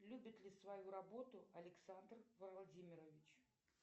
любит ли свою работу александр владимирович